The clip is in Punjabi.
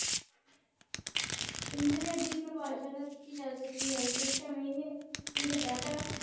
ਇੰਟਰਨੇਟ ਦੀ ਪਰਿਭਾਸ਼ਾ ਦਿੱਤੀ ਜਾ ਸਕਦੀ ਹੈ ਸਿਸਟਮ ਇਹ ਇਕ ਡਾਟਾ